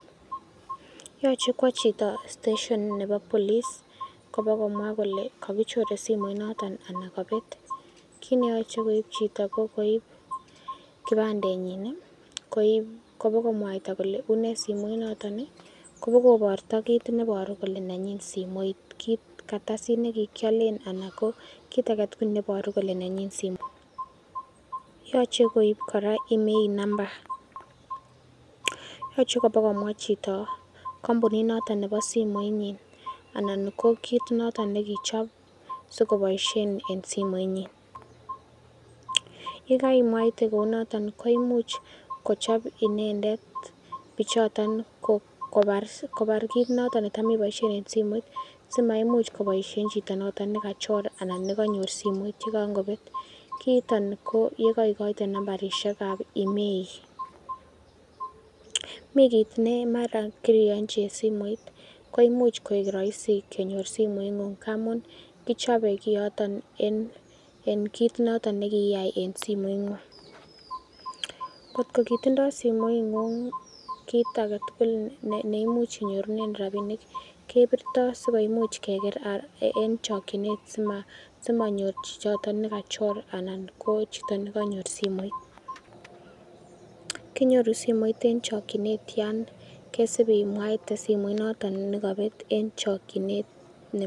Yoche kwo chito steshon nebo police kobokomwa kole kagichoren simoit noton anan kobet. Kit ne yoche koib chito, ko koib kipandenyin kobokomwaita kole une simoit noton , kobokokoito kit neiboru kole nenyin simoit kit kartasit ne kikialen anan ko kartasit age tugul neiboru kole nenyin simoit. Yoche koib kora IMEI number, yoche kobakomwa chito kompunit noton nebo simoinyin anan ko kit noton ne kichob sikoboisien en simoinyin. Ye kaimwaite kounooto koimuch kochob inendet bichoton kobar kiit noton netam iboisien en simoit simaimuch koboisiien chito noton ne kachor anan nekanyor simoit ye kan kobet. Kiiton ko ye kaikoite nambarishek ab IMEI mi kiit nemara kiriyonchi simoit koimuch koik roisi kenyor simoing'ung ngamun kichope kiyootn en kiit noton ne kiiyai en simoing'ung. Kotko kitondo simoing'ung kiit age tugul ne imuch inyorunen rabinik kebirtoi sikoimuch keker en chokinet simanyor chichoton nekachor anan ko chito ne kanyor simoit. Kinyoru simoit en chokinet yan kesib imwaite simoinoton nekobet en chokinet.